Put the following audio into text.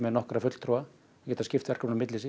nokkra fulltrúa og geta skipt verkum á milli sín